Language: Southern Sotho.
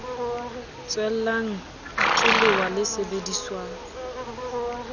tswellang ke lewa le sebediswang